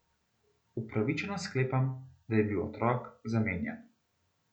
Upravičeno sklepam, da je bil otrok zamenjan.